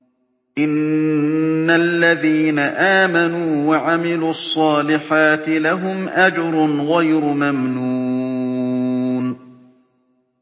إِنَّ الَّذِينَ آمَنُوا وَعَمِلُوا الصَّالِحَاتِ لَهُمْ أَجْرٌ غَيْرُ مَمْنُونٍ